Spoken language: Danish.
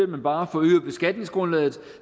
man bare forøger beskatningsgrundlaget